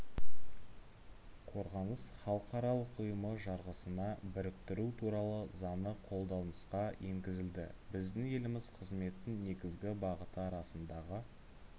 қорғаныс халықаралық ұйымы жарғысына біріктіру туралы заңы қолданысқа енгізілді біздің еліміз қызметтің негізгі бағыты арасындағы